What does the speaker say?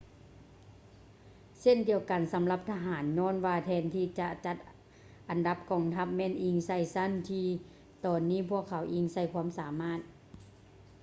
ເຊັ່ນດຽວກັນສຳລັບທະຫານ ຍ້ອນວ່າແທນທີ່ຈະຈັດອັນດັບກອງທັບ ແມ່ນອີງໃສ່ຊັ້ນ ທີ່ຕອນນີ້ພວກເຂົາອີງໃສ່ຄວາມສາມາດ